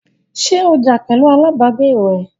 ṣé ó jà pẹ̀lu alábàágbé rẹ̀?